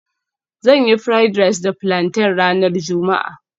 Zan yi fried rice da plantain ranar juma'a